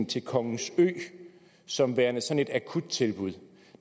til kongens ø som værende sådan et akuttilbud